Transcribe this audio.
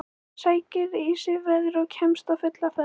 Sækir í sig veðrið og kemst á fulla ferð.